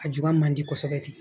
A juba man di kosɛbɛ ten